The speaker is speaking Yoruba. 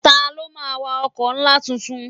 Ta ló máa wa ọkọ̀ ńlá tuntun?